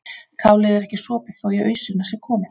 kálið er ekki sopið þó í ausuna sé komið